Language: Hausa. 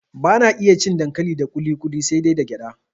Bana iya cin dankali da kuli kuli sai dai da gyada